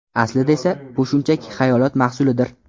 Aslida esa bu shunchaki xayolot mahsulidir.